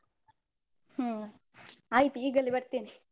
ಹ್ಮ ಆಯ್ತ್ ಈಗಲೇ ಬರ್ತೀನಿ.